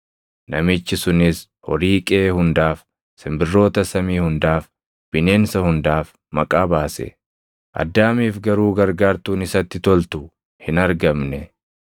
Namichi sunis horii qeʼee hundaaf, simbirroota samii hundaaf, bineensa hundaaf maqaa baase. Addaamiif garuu gargaartuun isatti toltu hin argamne.